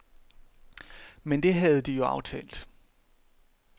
Men det havde de jo aftalt.